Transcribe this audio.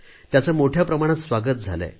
याचे मोठ्या प्रमाणात स्वागत झाले आहे